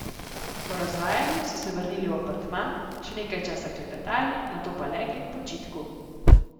Po razvajanju so se vrnili v apartma, še nekaj časa klepetali, nato pa legli k počitku.